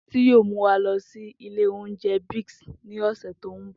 Titi yoo mu wa lọ si ilé oúnjẹ Biggs ni ọsẹ to nbọ.